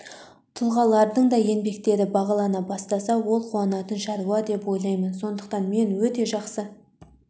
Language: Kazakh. тұлғалардың да еңбектері бағалана бастаса ол қуанатын шаруа деп ойлаймын сондықтан мен өте жақсы